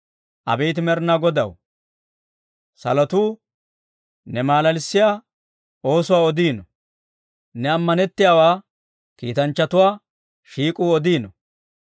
Abeet Med'inaa Godaw, salotuu, ne malalissiyaa oosuwaa odino; ne ammanettiyaawaa kiitanchchatuwaa shiik'uu odino.